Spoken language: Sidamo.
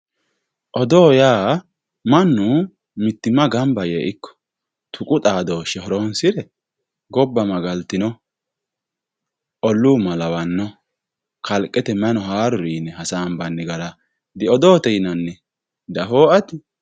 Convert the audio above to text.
odoo yaa mannu mittimma gamba yee ikko tuqu xaadooshshe horonsi're gobba magaltino olluu malawanno kalqete mayi no haaruri yine hasaabbanni gara diodoote yinanni diafoo ati ?